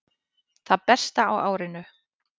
Það besta á árinu